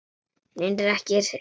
Hef reyndar ekki spurt.